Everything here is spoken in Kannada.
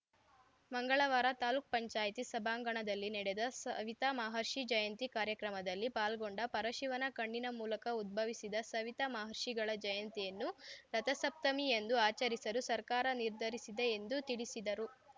ಮಂಗಳವಾರ ತಾಲೂಕ್ ಪಂಚಾಯತಿ ಸಭಾಂಗಣದಲ್ಲಿ ನಡೆದ ಸವಿತ ಮಹರ್ಷಿ ಜಯಂತಿ ಕಾರ್ಯಕ್ರಮದಲ್ಲಿ ಪಾಲ್ಗೊಂಡು ಪರಶಿವನ ಕಣ್ಣಿನ ಮೂಲಕ ಉದ್ಭವಿಸಿದ ಸವಿತ ಮಹರ್ಷಿಗಳ ಜಯಂತಿಯನ್ನು ರಥಸಪ್ತಮಿಯಂದು ಆಚರಿಸಲು ಸರ್ಕಾರ ನಿರ್ಧರಿಸಿದೆ ಎಂದು ತಿಳಿಸಿದರು